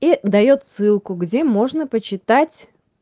и даёт ссылку где можно почитать